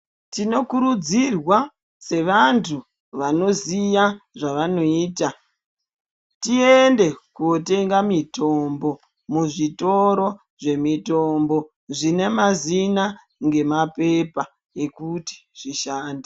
Tinokurudzirwa sevantu vanoziya zvavanoita tiende kotenga mitombo muzvitoro zvemitombo zvine mazina ngemapepa ekuti zvishande.